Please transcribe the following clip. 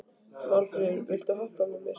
Málfríður, viltu hoppa með mér?